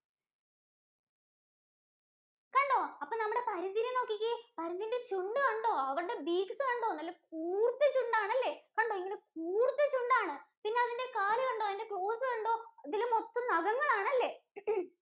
കണ്ടോ? അപ്പോ നമ്മുടെ പരുന്തിനെ നോക്കിക്കേ, പരുന്തിന്‍റെ ചുണ്ട് കണ്ടോ, അവര്ടെ beaks കണ്ടോ, നല്ല കൂര്‍ത്ത ചുണ്ടാണല്ലേ, കണ്ടോ ഇങ്ങനെ കൂര്‍ത്ത ചുണ്ടാണ്. പിന്നതിന്‍റെ കാലുകണ്ടോ, അതിന്‍റെ claws കണ്ടോ, ഇതില് മൊത്തം നഖങ്ങളാണല്ലേ?